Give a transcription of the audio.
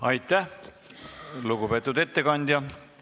Aitäh, lugupeetud ettekandja!